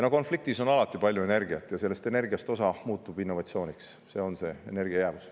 Konfliktis on alati palju energiat, aga sellest energiast osa muutub innovatsiooniks, see on see energia jäävus.